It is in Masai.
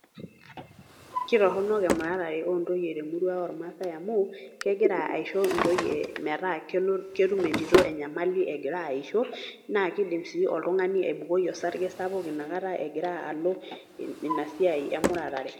Kitorronok emuratare ontoyie temurua ormaasai amu, kegira aisho intoyie metaa ketum entito enyamali egira aisho, naa kidim si oltung'ani aibukoi osarge sapuk inakata egira alo inasiai emuratare.